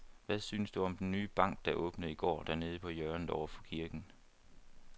Hvad synes du om den nye bank, der åbnede i går dernede på hjørnet over for kirken?